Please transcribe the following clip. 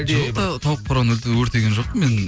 жоқ тауық қораны өртеген жоқпын мен